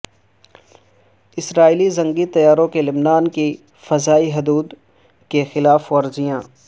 اسرائیلی جنگی طیاروں کی لبنان کی فضائی حدود کی خلاف ورزیاں